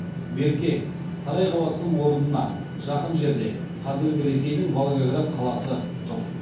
берке сарай қаласының орына жақын жерде қазіргі ресейдің волгоград қаласы тұр